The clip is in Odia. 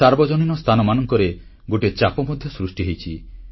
ସାର୍ବଜନୀନ ସ୍ଥାନମାନଙ୍କରେ ଗୋଟିଏ ଚାପ ମଧ୍ୟ ସୃଷ୍ଟି ହୋଇଛି